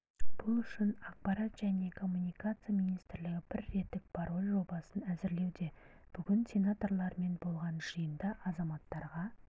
бұл үшін ақпарат және коммуникация министрлігі бір реттік пароль жобасын әзірлеуде бүгін сенаторлармен болған жиында азаматтарға